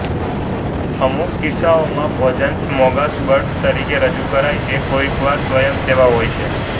અમુક કિસ્સાઓમાં ભોજન સ્મોર્ગાસબોર્ડ તરીકે રજૂ કરાય છે કોઇક વાર સ્વયં સેવા હોય છે